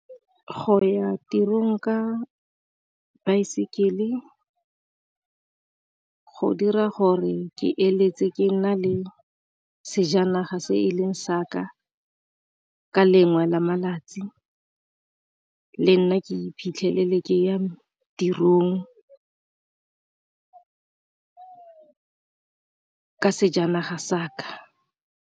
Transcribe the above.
Go ya tirong ka baesekele go dira gore ke eletse ke nna le sejanaga se e leng sa ka, ka lengwe la malatsi le nna ke iphitlhele ke ya tirong ka sejanaga sa ka.